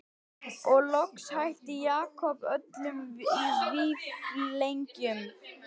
Og loks hætti Jakob öllum vífilengjum.